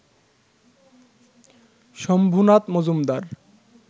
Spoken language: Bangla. শম্ভুনাথ মজুমদার